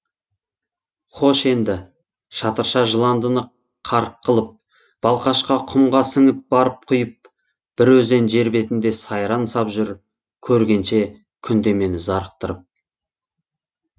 хош енді шатырша жыландыны қарық қылып балқашқа құмға сіңіп барып құйып бір өзен жер бетінде сайран сап жүр көргенше күнде мені зарықтырып